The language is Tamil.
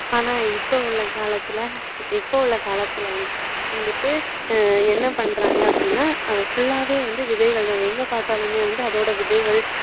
ஆனா இப்போ உள்ள காலத்துல இப்போ உள்ள காலத்துலவந்து~வந்துட்டு என்ன பண்றாங்க அப்படின்னா full லாவே வந்து விதைகள் தான் எங்க பார்த்தாலுமே அதோட விதைகள்